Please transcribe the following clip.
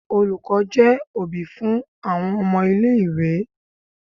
Olùkọ́ jẹ́ òbí fún àwọn ọmọ-ilé-ìwé.